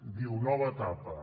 diu nova etapa